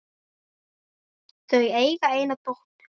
Þau eiga eina dóttur.